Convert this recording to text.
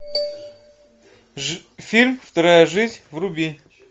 фильм вторая жизнь вруби